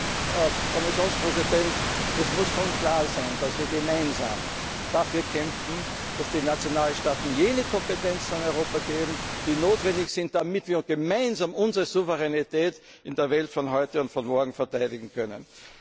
Föderation der Nationalstaaten. Aber, Herr Kommissionspräsident Es muss schon klar sein, dass wir gemeinsam dafür kämpfen, dass die Nationalstaaten jene Kompetenzen an Europa geben, die notwendig sind, damit wir gemeinsam unsere Souveränität in der Welt von heute und